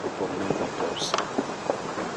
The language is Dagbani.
bi pɔbi namgbani pubirisi .